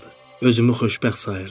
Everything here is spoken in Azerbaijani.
Özümü xoşbəxt sayırdım.